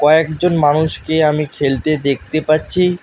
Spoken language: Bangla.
কয়েকজন মানুষকে আমি খেলতে দেখতে পাচ্ছি।